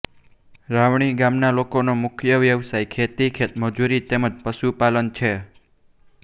રાવણી ગામના લોકોનો મુખ્ય વ્યવસાય ખેતી ખેતમજૂરી તેમ જ પશુપાલન છે